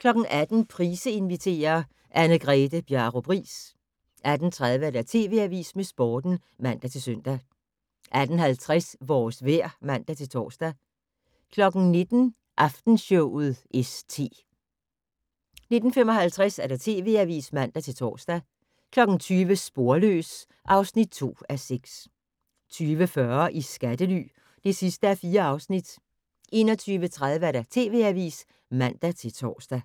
18:00: Price inviterer - Anne-Grethe Bjarup Riis 18:30: TV Avisen med Sporten (man-søn) 18:50: Vores vejr (man-tor) 19:00: Aftenshowet st 19:55: TV Avisen (man-tor) 20:00: Sporløs (2:6) 20:40: I skattely (4:4) 21:30: TV Avisen (man-tor)